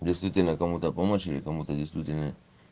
действительно кому-то помочь или кому-то действительно